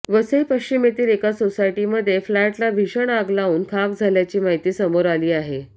वसई पश्चिमेतील एका सोसायटमध्ये फ्लॅटला भीषण आग लावून खाक झाल्याची माहिती समोर आली आहे